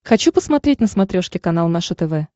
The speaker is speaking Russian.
хочу посмотреть на смотрешке канал наше тв